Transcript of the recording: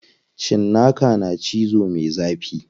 Cinnaka na cizo me zafi.